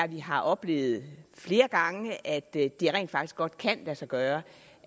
vi har oplevet flere gange at det rent faktisk godt kan lade sig gøre